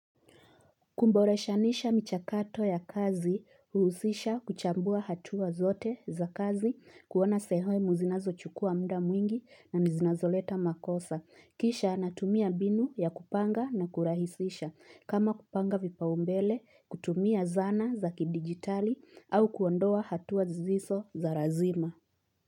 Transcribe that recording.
Kuboreshanisha michakato ya kazi huusisha kuchambua hatua zote za kazi, kuona sehemu zinazochukua muda mwingi na zinazoleta makosa. Kisha natumia mbinu ya kupanga na kurahisisha. Kama kupanga vipaumbele, kutumia zana za kidigitali au kuondoa hatuwa zisizo za lazima.